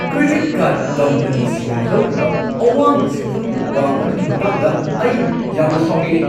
Credit card ꯀꯝꯄꯅꯤꯁꯤꯡꯅ ꯂꯧꯔꯤꯕ ꯑꯋꯥꯡꯕ ꯁꯦꯟꯐꯝꯒꯤ ꯋꯥꯡ ꯑꯗꯨꯒꯤ ꯃꯇꯥꯡꯗ ꯑꯩ ꯌꯥꯝꯅ ꯁꯥꯎꯅꯤꯡꯏ ꯫